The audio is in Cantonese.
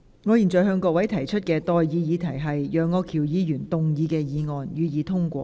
我現在向各位提出的待議議題是：楊岳橋議員動議的議案，予以通過。